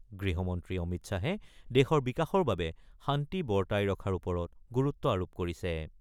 গৃহমন্ত্ৰী অমিত শ্বাহে দেশৰ বিকাশৰ বাবে শান্তি বৰ্তাই ৰখাৰ ওপৰত গুৰুত্ব আৰোপ কৰিছে।